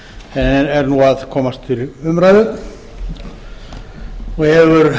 en er nú að komast til umræðu og hefur